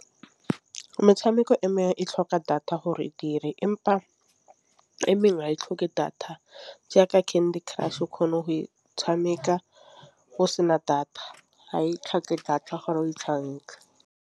Metšhameko e mengwe e tlhoka data gore e dire empa e mengwe ga e tlhoke data jaaka Candy Crush o kgona go e tšhameka go sena data ga e tlhoke data gore o tšhameka.